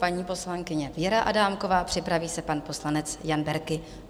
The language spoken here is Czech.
Paní poslankyně Věra Adámková, připraví se pan poslanec Jan Berki.